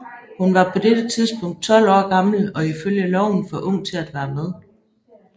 Hun var på dette tidspunkt 12 år gammel og ifølge loven for ung til at være med